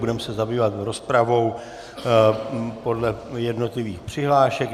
Budeme se zabývat rozpravou podle jednotlivých přihlášek.